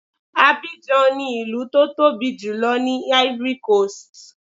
Abidjan ni ìlú tó tóbi jùlọ ní Ivory coast.